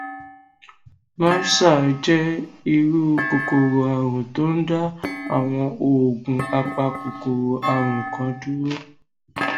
mrsa jẹ irú kòkòrò àrùn tó ń da àwọn oògùn apakòkòrò àrùn kan dúró